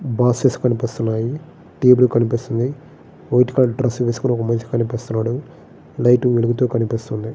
Boxes కనిపిస్తన్నాయి. Table కనిపిస్తుంది.వైట్ colour dress వేసుకుని ఒక మనిషి కనిపిస్తున్నాడు.లైట్ వెలుగుతూ కనిపిస్తుంది.